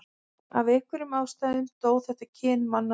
af einhverjum ástæðum dó þetta kyn manna út